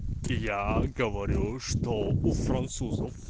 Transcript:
я говорю что у французов